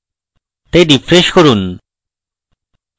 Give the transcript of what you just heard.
তাই refresh করুন